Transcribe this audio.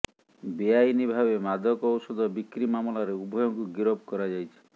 ବେଆଇନ ଭାବେ ମାଦକ ଔଷଧ ବିକ୍ରି ମାମଲାରେ ଉଭୟଙ୍କୁ ଗିରଫ କରାଯାଇଛି